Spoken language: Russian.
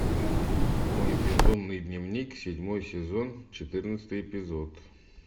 мой безумный дневник седьмой сезон четырнадцатый эпизод